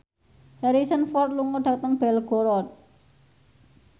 Harrison Ford lunga dhateng Belgorod